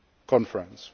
a pledging conference.